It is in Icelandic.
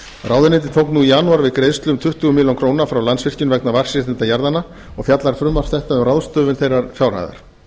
ráðuneytið tók nú í janúar við greiðslu um tuttugu milljónir króna frá landsvirkjun vegna vatnsréttinda jarðanna og fjallar frumvarp þetta um ráðstöfun þeirrar fjárhæðar